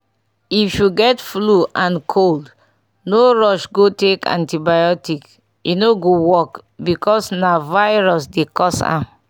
if you get flu and cold no rush go take antibiotic e no go work because na virus dey cause m